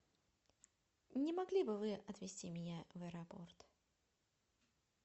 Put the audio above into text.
не могли бы вы отвезти меня в аэропорт